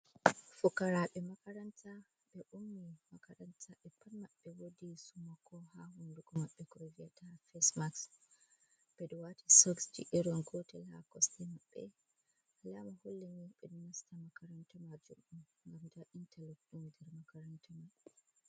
Fukaraɓe makaranta. Be ummi makaranta be pat mabɓe beɗo wadi sumoko ha hundugo maɓɓe croviataha fess maks. be ɗo wati soksji irin gotel ha kosɗe mabbe. Alama hulleni be do nasta makaranta majum un. Nɗa intalok nder makaranta maɓɓe.